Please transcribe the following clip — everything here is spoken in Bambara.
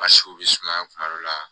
Masiw be sumaya kuma dɔ la